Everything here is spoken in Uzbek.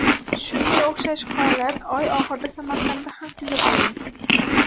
Shunga o‘xshash holat oy oxirida Samarqandda ham kuzatilgan .